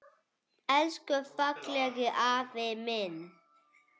Elsku fallegi afi minn.